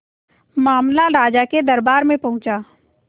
मामला राजा के दरबार में पहुंचा